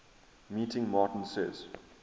meeting martin says